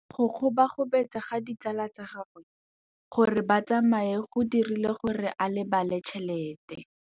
Go gobagobetsa ga ditsala tsa gagwe, gore ba tsamaye go dirile gore a lebale tšhelete.